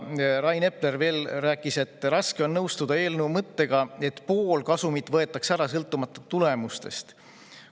Rain Epler rääkis veel, et raske on nõustuda eelnõu mõttega, et pool kasumit võetakse ära, sõltumata tulemustest.